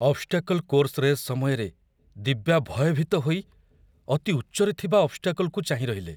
Obstacle course race ସମୟରେ ଦିବ୍ୟା ଭୟଭୀତ ହୋଇ ଅତି ଉଚ୍ଚରେ ଥିବା ଅବ୍‌ସ୍ଟାକଲ୍‌କୁ ଚାହିଁରହିଲେ।